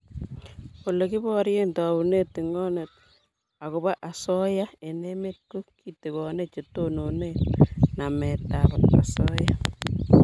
Ole kiborie taunet tingonet akobo asoya eng' emet ko ketigon che tonone namet ab asoya